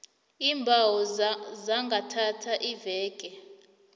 iimbawo zingathatha iimveke